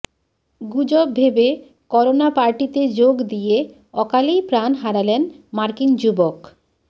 গুজব ভেবে করোনা পার্টিতে যোগ দিয়ে অকালেই প্রাণ হারালেন মার্কিন যুবক